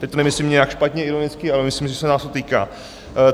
Teď to nemyslím nijak špatně, ironicky, ale myslím, že se nás to týká.